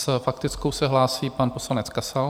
S faktickou se hlásí pan poslanec Kasal.